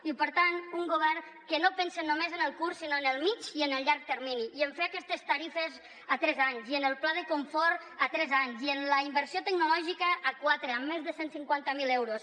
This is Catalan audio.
i per tant un govern que no pensa només en el curs sinó en el mitjà i en el llarg termini i a fer aquestes tarifes a tres anys i en el pla de confort a tres anys i en la innovació tecnològica a quatre amb més de cent i cinquanta miler euros